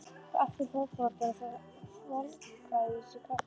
Aftur fótbrotinn og svolgraði í sig kaffið.